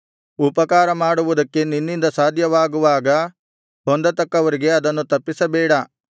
ಉಪಕಾರಮಾಡುವುದಕ್ಕೆ ನಿನ್ನಿಂದ ಸಾಧ್ಯವಾಗುವಾಗ ಹೊಂದತಕ್ಕವರಿಗೆ ಅದನ್ನು ತಪ್ಪಿಸಬೇಡ